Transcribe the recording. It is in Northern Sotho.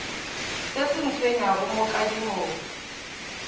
se se ntshwenyago mo kadimong